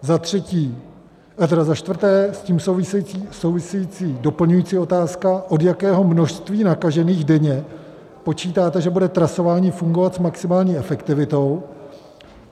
Za čtvrté, s tím související doplňující otázka, od jakého množství nakažených denně počítáte, že bude trasování fungovat s maximální efektivitou?